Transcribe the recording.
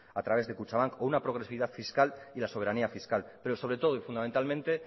a través de kutxabank o una progresividad fiscal y la soberanía fiscal pero sobre todo y fundamentalmente